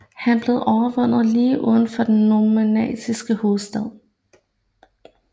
Han blev overvundet lige uden for den normanniske hovedstad